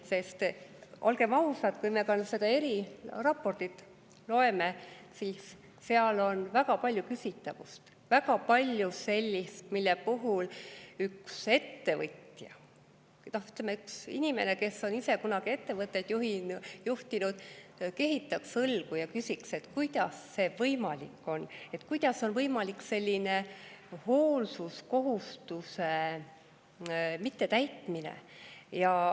Sest olgem ausad, kui me seda eriraportit loeme, siis seal on väga palju küsitavust, väga palju sellist, mille puhul üks ettevõtja, ütleme, inimene, kes on ise kunagi ettevõtteid juhtinud, kehitaks õlgu ja küsiks, et kuidas see võimalik on, kuidas on võimalik selline hoolsuskohustuse mittetäitmine.